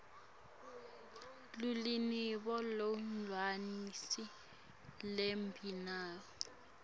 luvelo lolwenelisako lwemibono